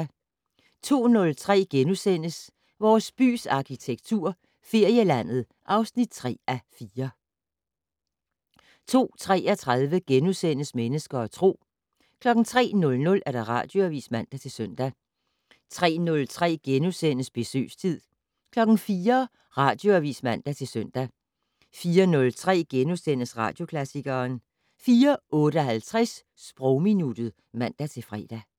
02:03: Vores bys arkitektur - Ferielandet (3:4)* 02:33: Mennesker og Tro * 03:00: Radioavis (man-søn) 03:03: Besøgstid * 04:00: Radioavis (man-søn) 04:03: Radioklassikeren * 04:58: Sprogminuttet (man-fre)